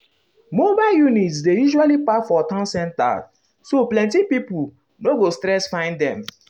mobile units dey usually park for town center so plenty pipo um no go stress find them.